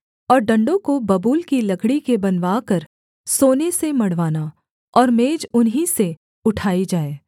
और डण्डों को बबूल की लकड़ी के बनवाकर सोने से मढ़वाना और मेज उन्हीं से उठाई जाए